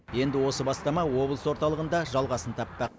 енді осы бастама облыс орталығында жалғасын таппақ